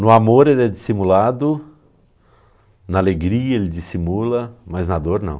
No amor ele é dissimulado, na alegria ele dissimula, mas na dor não.